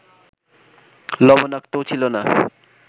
লবণাক্তও ছিল না